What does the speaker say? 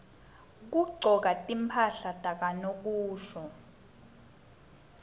kugcoka timphahla tanokusho